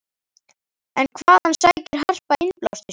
En hvaðan sækir Harpa innblástur sinn?